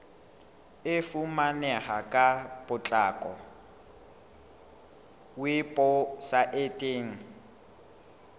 e fumaneha ka potlako weposaeteng